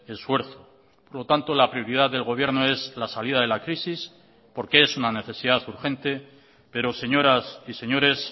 esfuerzo por lo tanto la prioridad del gobierno es la salida de la crisis porque es una necesidad urgente pero señoras y señores